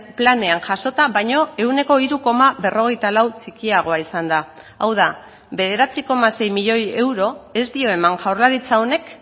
planean jasota baino ehuneko hiru koma berrogeita lau txikiagoa izan da hau da bederatzi koma sei milioi euro ez dio eman jaurlaritza honek